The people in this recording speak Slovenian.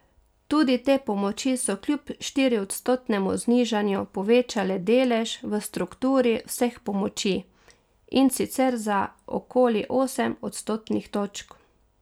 Tudi te pomoči so kljub štiriodstotnemu znižanju povečale delež v strukturi vseh pomoči, in sicer za okoli osem odstotnih točk.